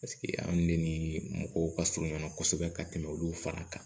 Paseke an ne ni mɔgɔw ka surun ɲɔgɔn na kosɛbɛ ka tɛmɛ olu fana kan